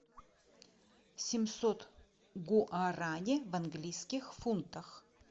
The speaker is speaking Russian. семьсот гуарани в английских фунтах